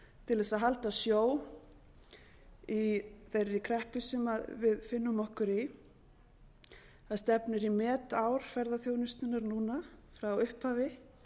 til þess að halda sjó í þeirri kreppu sem við finnum okkur í það stefnir í metár ferðaþjónustunnar núna frá upphafi